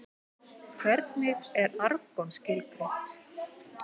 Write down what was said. Hvernig er argon skilgreint?